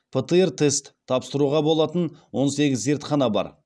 птр тест тапсыруға болатын он сегіз зертхана бар